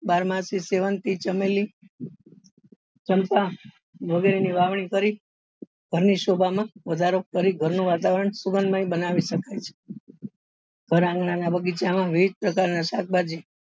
બારમાસી સેવંતી ચમેલી ચંપ વગેરે વાવણી કરી ઘર ની શોભા નો વધારો કરી ઘર નું વાતાવરણ સુગંધ મય બનાવી શકો છો ઘર આંગણા ના બગીચા માં વિવિધ પ્રકાર ના શાકભાજી